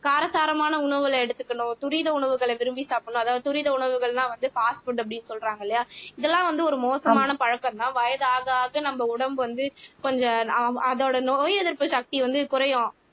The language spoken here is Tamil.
காரசாரமான உணவுகளை எடுத்துக்கணும் துரித உணவுகளை விரும்பி சாப்பிடணும் அதாவது துரித உணவுகள்லாம் வந்து பாஸ்ட் புட் அப்படி சொல்றாங்க இல்லையா இதெல்லாம் வந்து ஒரு மோசமான பழக்கம்தான் வயதாக ஆக நம்ம உடம்பு வந்து கொஞ்சம் அதோட நோய் எதிர்ப்பு சக்தி வந்து குறையும்